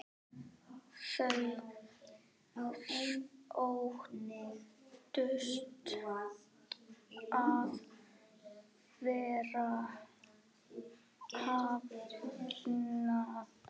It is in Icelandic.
Þau óttast að vera hafnað.